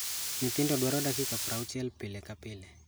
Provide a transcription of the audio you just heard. Nyithindo dwaro dakika 60 pile ka pile.